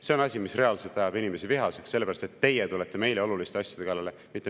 See on asi, mis reaalselt ajab inimesi vihaseks, sellepärast et teie tulete meile oluliste asjade kallale.